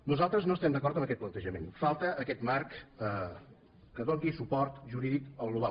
nosaltres no estem d’acord amb aquest plantejament falta aquest marc que doni suport jurídic al global